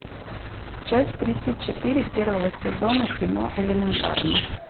часть тридцать четыре первого сезона кино элементарно